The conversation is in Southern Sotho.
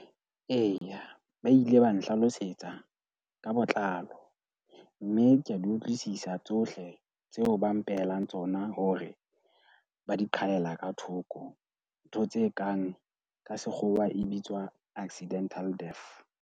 Eya, ba ile ba nhlalosetsa ka botlalo mme ke a di utlwisisa tsohle tseo ba mpehelang tsona hore ba di qhalella ka thoko. Ntho tse kang ka Sekgowa e bitswa accidental death.